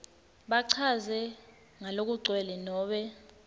bachaze ngalokugcwele nobe